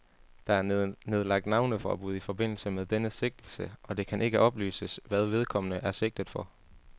Der er nedlagt navneforbud i forbindelse med denne sigtelse, og det kan ikke oplyses, hvad vedkommende er sigtet for.